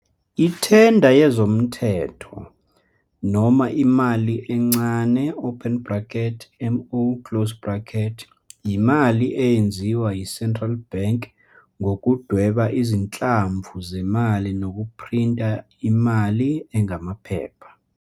Ithenda yezomthetho, noma imali encane, M0, yimali eyenziwa yiCentral Bank ngokudweba izinhlamvu zemali nokuphrinta imali engamaphepha.